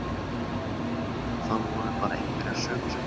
Það voru bara einhverjar sögusagnir.